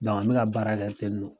N mi ka baara kɛ ten non.